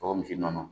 Tɔgɔmuso nɔnɔ